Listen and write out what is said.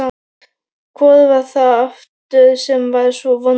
Hvor var það aftur sem var svo vondur?